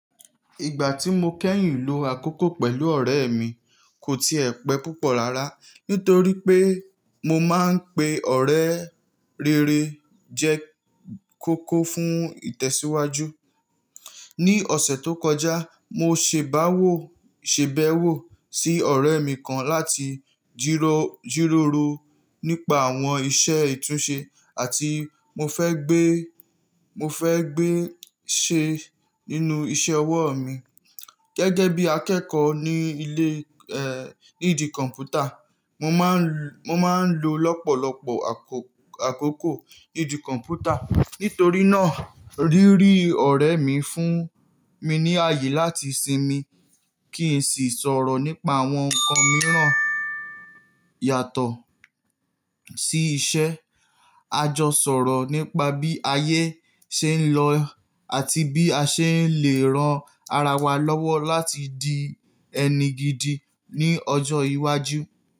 Ìgbà tí mo kẹ́yìn lo àkókò pẹ̀lú ọ̀rẹ́ mi kò ti ẹ̀ pẹ́ púpọ̀ rárá, nítorí pé mo máa ń pe ọ̀rẹ́ rere jẹ́ kókó fún ìtẹ̀síwájú. Ní ọ̀sẹ̀ tó kọjá, mo ṣèbàwò, ṣèbẹwò sí ọ̀rẹ́ mi kan láti jìròrò nípa àwọn iṣẹ́ ìtúnṣe àti mo fẹ́ gbé, mo fẹ́ gbé ṣe nínú iṣẹ́ ọwọ́ mi. Gẹ́gẹ́ bí akẹ́kọ̀ọ́ ní ilé, ẹ́, nídi kọ̀m̀pútà, mo máa ń, mo máa ń lo lọ́pọ̀lọpọ̀ àkókò nídi kọ̀m̀pútà. Nítorí náà, rírí ọ̀rẹ́ mi fún mi ní àyè láti sinmi kí n sì sọ̀rọ̀ nípa àwọn ǹkan mìíràn yàtọ̀ sí iṣẹ́. A jọ sọ̀rọ̀ nípa bí ayé ṣe ń lọ àti bí a ṣe lè ran ara wa lọ́wọ́ láti di ẹni gidi ní ọjọ́ iwájú.